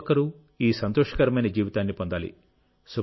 ప్రతి ఒక్కరూ ఈ సంతోషకరమైన జీవితాన్ని పొందాలి